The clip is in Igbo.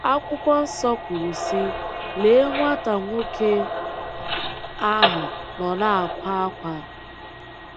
Akwụkwọ Nsọ kwuru sị: “Lee, nwata nwoke ahụ nọ na-akwa ákwá